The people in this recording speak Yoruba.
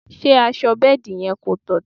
Ṣé aṣọ bẹ́ẹ̀dì yẹn kò dọ̀tí?